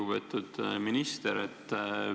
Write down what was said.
Lugupeetud minister!